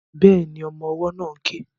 Bẹ́ẹ̀ni, ọmọ ọwọ́ náà ń ké